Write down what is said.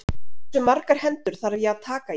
Hversu margar hendur þarf ég að taka í?